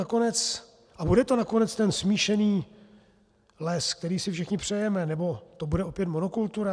A bude to nakonec ten smíšený les, který si všichni přejeme, nebo to bude opět monokultura?